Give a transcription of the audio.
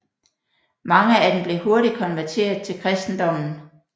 Mange af dem blev hurtigt konverteret til kristendommen